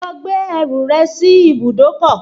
Lọ gbé ẹrù rẹ sí ibùdókọ̀